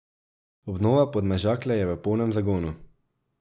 Obnova Podmežakle je v polnem zagonu.